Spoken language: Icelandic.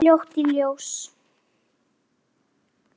Kom það fljótt í ljós?